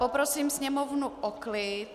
Poprosím sněmovnu o klid.